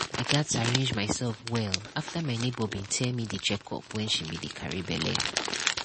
i gats arrange myself well after my neighbor be tell me the checkup wen she be dey carry belle